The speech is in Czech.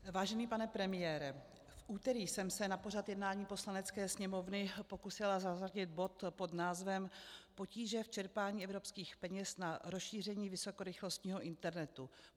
Vážený pane premiére, v úterý jsem se na pořad jednání Poslanecké sněmovny pokusila zařadit bod pod názvem Potíže v čerpání evropských peněz na rozšíření vysokorychlostního internetu.